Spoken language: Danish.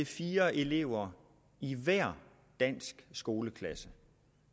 fire elever i hver dansk skoleklasse